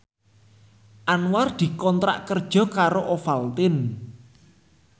Anwar dikontrak kerja karo Ovaltine